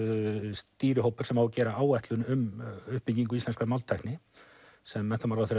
stýrihópur sem á að gera áætlun um uppbyggingu íslenskrar máltækni sem menntamálaráðherra